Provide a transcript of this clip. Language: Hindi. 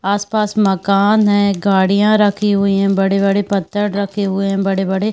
आस-पास मकान हैं। गाड़ियाँ रखी हुई हैं। बड़े-बड़े पत्थर रखे हुए हैं। बड़े-बड़े --